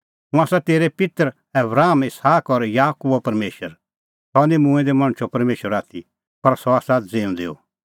हुंह आसा तेरै पित्तर आबराम इसहाक और याकूबो परमेशर सह निं मूंऐं दै मणछो परमेशर आथी पर सह आसा ज़िऊंदैओ